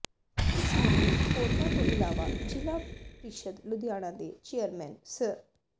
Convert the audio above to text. ਇਸ ਮੌਕੇ ਹੋਰਨਾਂ ਤੋਂ ਇਲਾਵਾ ਜ਼ਿਲ੍ਹਾ ਪ੍ਰੀਸ਼ਦ ਲੁਧਿਆਣਾ ਦੇ ਚੇਅਰਮੈਨ ਸ੍ਰ